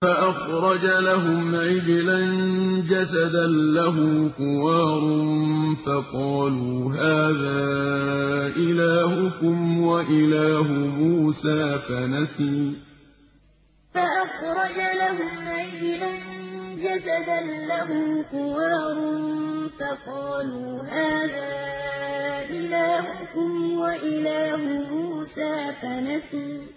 فَأَخْرَجَ لَهُمْ عِجْلًا جَسَدًا لَّهُ خُوَارٌ فَقَالُوا هَٰذَا إِلَٰهُكُمْ وَإِلَٰهُ مُوسَىٰ فَنَسِيَ فَأَخْرَجَ لَهُمْ عِجْلًا جَسَدًا لَّهُ خُوَارٌ فَقَالُوا هَٰذَا إِلَٰهُكُمْ وَإِلَٰهُ مُوسَىٰ فَنَسِيَ